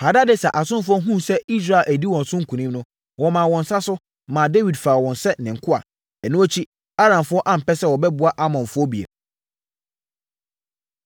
Hadadeser asomfoɔ hunuu sɛ Israel adi wɔn so nkonim no, wɔmaa wɔn nsa so, maa Dawid faa wɔn sɛ ne nkoa. Ɛno akyi, Aramfoɔ ampɛ sɛ wɔbɛboa Amonfoɔ bio.